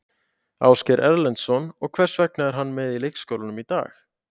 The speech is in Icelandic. Ásgeir Erlendsson: Og hvers vegna er hann með í leikskólanum í dag?